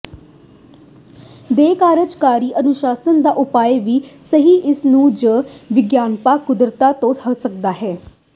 ਦੇ ਕਾਰਜਕਾਰੀ ਅਨੁਸ਼ਾਸਨ ਦਾ ਉਪਾਅ ਵੀ ਸਹੀ ਇਸ ਨੂੰ ਜ ਵਿਗਿਆਪਨ ਕੁਦਰਤ ਹੋ ਸਕਦਾ ਹੈ